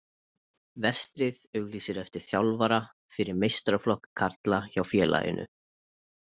Vestri auglýsir eftir þjálfara fyrir meistaraflokk karla hjá félaginu.